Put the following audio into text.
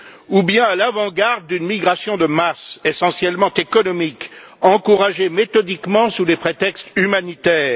Ou bien à l'avant garde d'une migration de masse essentiellement économique, encouragée méthodiquement sous des prétextes humanitaires?